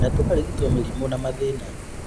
Na tũkarigitwo mĩrimũ na mathĩna